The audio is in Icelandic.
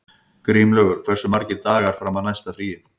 Grímlaugur, hversu margir dagar fram að næsta fríi?